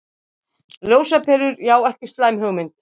Ljósaperur, já ekki slæm hugmynd.